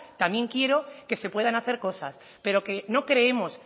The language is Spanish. también quiero que se puedan hacer cosas pero que no creemos